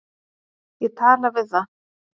Ég tala við það.